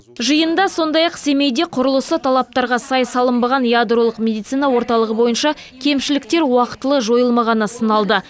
жиында сондай ақ семейде құрылысы талаптарға сай салынбаған ядролық медицина орталығы бойынша кемшіліктер уақытылы жойылмағаны сыналды